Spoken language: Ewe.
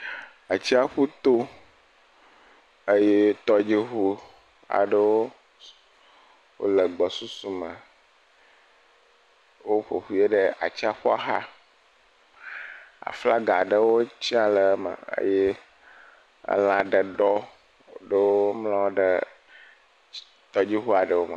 Atsiaƒu to eye tɔdziŋu aɖewo le gbɔ susu me. Woƒoƒui ɖe atsiaƒua xa. Aflaga aɖewo tsɛ̃a le eme eye ela ɖe ɖɔ eye womlɔ ɖe tɔgbui xɔ aɖewo me.